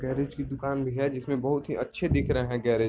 Garage की दुकान भी है जिसमें बहुत ही अच्छे दिख रहे है गैरज ।